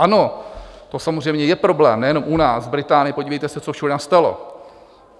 Ano, to samozřejmě je problém, nejenom u nás, v Británii, podívejte se, co všude nastalo.